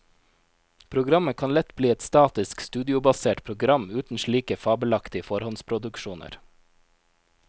Programmet kan lett bli et statisk, studiobasert program uten slike fabelaktige forhåndsproduksjoner.